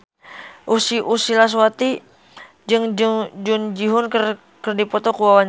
Ussy Sulistyawati jeung Jung Ji Hoon keur dipoto ku wartawan